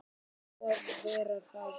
Fá að vera þar.